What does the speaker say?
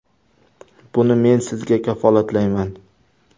Buni men sizga kafolatlayman.